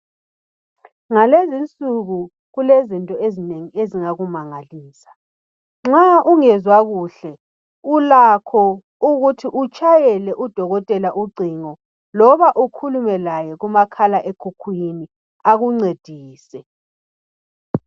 Ngalezi insuku kulezinto ezinengi ezingakumangalisa, nxa ungezwa kuhle ulakho ukuthi utshayele udokotela ucingo loba ukhulume laye kuma khala ekhukhwini akuncedise.